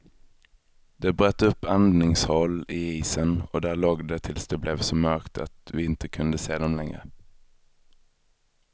De bröt upp andningshål i isen och där låg de tills det blev så mörkt att vi inte kunde se dem längre.